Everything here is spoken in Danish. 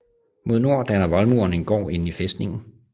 Mod nord danner voldmuren en gård inde i fæstningen